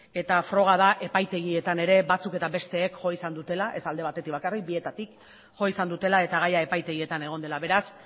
eta froga da epaitegietan ere batzuk eta besteek jo izan dutela ez alde batetik bakarrik bietatik jo izan dutela eta gaia epaitegietan egon dela beraz